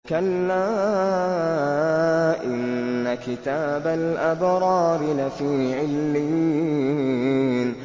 كَلَّا إِنَّ كِتَابَ الْأَبْرَارِ لَفِي عِلِّيِّينَ